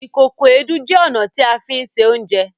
Ìkòkò Èédú jẹ ọna ti a fí ṣe Oúnjẹ